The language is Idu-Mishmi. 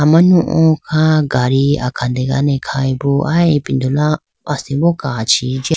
Amanu o kha gadi akhadene khayibo aya ipindolo asimbo kachi jiya.